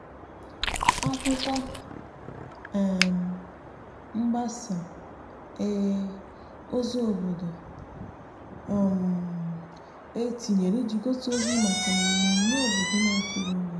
akwụkwo um mgbasa um ozi obodo e tinyere iji gbasa ozi maka mmeme obodo n'akụrụngwa